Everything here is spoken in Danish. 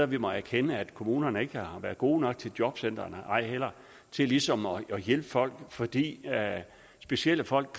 vi må erkende at kommunerne ikke har været gode nok til jobcentrene ej heller til ligesom at hjælpe folk fordi specielle folk